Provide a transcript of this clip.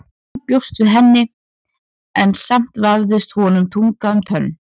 Hann bjóst við henni en samt vafðist honum tunga um tönn.